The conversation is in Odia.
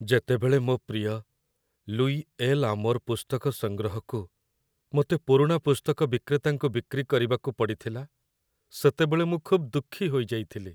ଯେତେବେଳେ ମୋ ପ୍ରିୟ ଲୁଇ ଏଲ୍'ଆମୋର୍ ପୁସ୍ତକ ସଂଗ୍ରହକୁ ମୋତେ ପୁରୁଣା ପୁସ୍ତକ ବିକ୍ରେତାଙ୍କୁ ବିକ୍ରି କରିବାକୁ ପଡ଼ିଥିଲା, ସେତେବେଳେ ମୁଁ ଖୁବ୍ ଦୁଃଖୀ ହୋଇଯାଇଥିଲି।